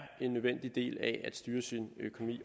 en nødvendig del af at styre sin økonomi